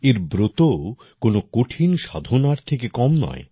এর ব্রতও কোনও কঠিন সাধনার থেকে কম নয়